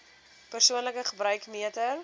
persoonlike gebruik meter